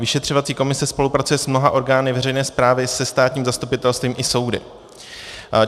Vyšetřovací komise spolupracuje s mnoha orgány veřejné správy, se státním zastupitelstvím i soudy.